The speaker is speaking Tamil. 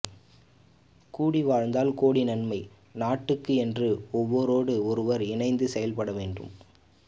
கூடி வாழ்ந்தால் கோடி நன்மை நாட்டுக்கு என்றும் ஒருவரோடு ஒருவர் இணைந்து செயல்படவேண்டும்